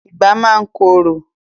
Ìgbá máa ń korò.